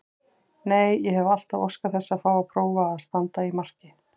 Nei, ég hef alltaf óskað þess að fá að prófa að standa í marki.